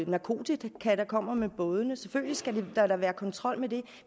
narkotika der kommer med bådene selvfølgelig skal der da være kontrol med det